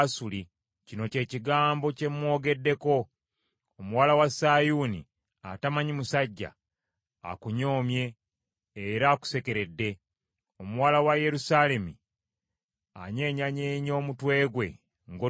kino kye kigambo kye mmwogeddeko: “ ‘Omuwala wa Sayuuni embeerera akunyooma era akusekerera. Omuwala wa Yerusaalemi akunyeenyeza omutwe gwe nga bw’odduka.